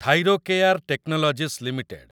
Thyrocare technologies limited